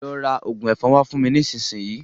Lọ ra òògùn ẹ̀fọn wá fún mi nísinsìnyí.